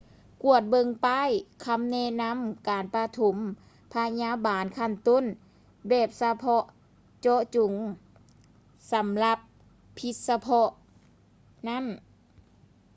ກວດເບິ່ງປ້າຍຄຳແນະນຳການປະຖົມພະຍາບານຂັ້ນຕົ້ນແບບສະເພາະເຈາະຈົງສຳລັບພິດສະເພາະນັ້ນ